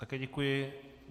Také děkuji.